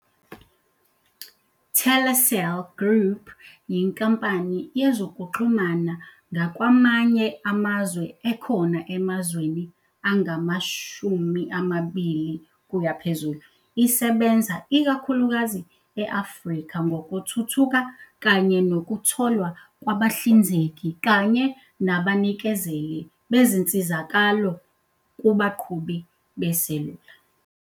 Telecel Group yinkampani yezokuxhumana ngakwamanye amazwe ekhona emazweni angama-20 plus, isebenza ikakhulukazi e- Afrika ngokuthuthuka kanye nokutholwa kwabahlinzeki kanye nabanikezeli bezinsizakalo kubaqhubi beselula.